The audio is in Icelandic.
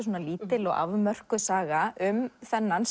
svona lítil og afmörkuð saga um þennan